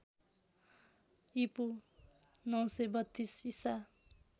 ईपू ९३२ ईसा